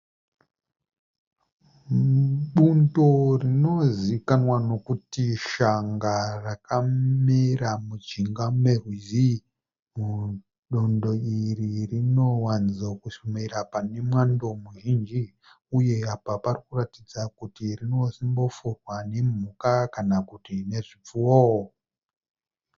Bundo rinozikanwa nekuti shanga rakamera mujinga merwizi. Bundo iri rinowanzomera pane mwando muzhinji uye apa rinoratidza kuti rinosimbofurwa nemhuka kana zvipfuyo.